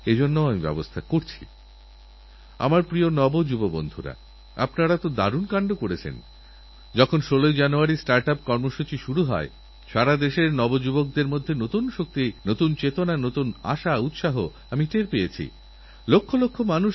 আমার মনে আছে আমি যখন গুজরাতের মুখ্যমন্ত্রী ছিলাম ওখানে অম্বাজীরমন্দিরে ভাদ্র মাসে অনেক পুণ্যার্থী আসেন একবার এক সমাজসেবী সংস্থা ঠিক করলমন্দিরে যেসব পুণ্যার্থী আসবেন তাঁদের প্রসাদে গাছের চারা দেবেন আর তাঁদেরকেবলবেন দেখুন এটা মাতাজীর প্রসাদ এই গাছের চারাকে নিজেদের গ্রামেঘরে গিয়েলাগিয়ে বড় করুন মাতা আপনাদের আশীর্বাদ দিতে থাকবেন